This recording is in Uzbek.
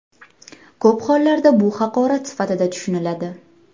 Ko‘p hollarda bu haqorat sifatida tushuniladi .